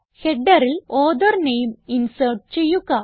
Headerൽ author name insert ചെയ്യുക